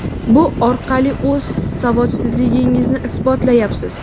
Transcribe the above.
bu orqali o‘z savodsizligingizni isbotlayapsiz.